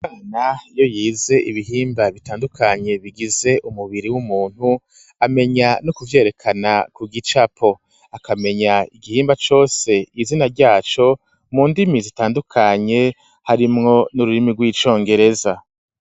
Umwana iyo yize ibihimba bitandukanye, bigize umubiri w'umuntu ,amenya no kuvyerekana ku gicapo, akamenya igihimba cose izina ryaco, mu ndimi zitandukanye ,harimwo n'ururimi rw'icongereza.